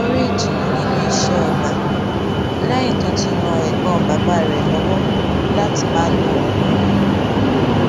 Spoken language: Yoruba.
ó rí ìtùnú nínú iṣé ọgbà léyìn tó ti ran ègbón bàbá rè lówó láti máa lo oògùn rè